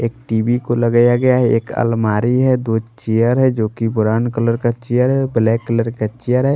एक टी_वी को लगाया गया है एक अलमारी है दो चेयर है जो कि ब्राउन कलर का चेयर है ब्लैक कलर का चेयर है।